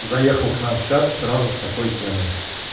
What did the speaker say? заехал к нам в чат сразу с такой темой